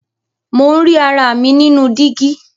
Mo ń rí ara mi nínú dígí.